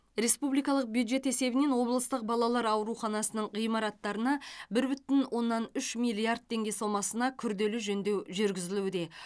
республикалық бюджет есебінен облыстық балалар ауруханасының ғимараттарына бір бүтін оннан үш миллиард теңге сомасына күрделі жөндеу жүргізілуде